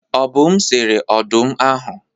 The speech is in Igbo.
Obum sere ọdụm ahụ.